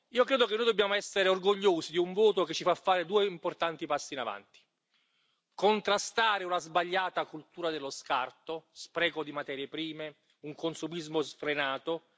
Io credo che noi dobbiamo essere orgogliosi di un voto che ci fa fare due importanti passi avanti primo, contrastare una sbagliata cultura dello scarto spreco di materie prime, un consumismo sfrenato